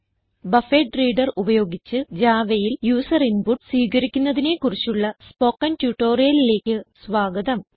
buffered reader ഉപയോഗിച്ച് Javaയിൽ user input സ്വീകരിക്കുന്നതിനെ കുറിച്ചുള്ള സ്പോകെൻ ട്യൂട്ടോറിയലിലേക്ക് സ്വാഗതം